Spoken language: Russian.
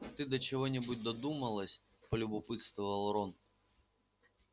ты до чего-нибудь додумалась полюбопытствовал рон